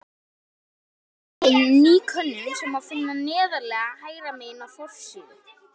Komin er inn ný könnun sem má finna neðarlega hægra megin á forsíðu.